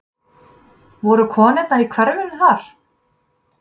Voru konurnar í hverfinu þar?